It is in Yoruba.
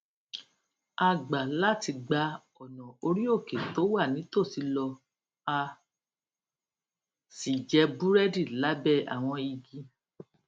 a gbà láti gba ònà orí òkè tó wà nítòsí lọ a sì jẹ búrédì lábé àwọn igi